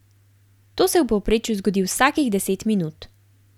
To se v povprečju zgodi vsakih deset minut.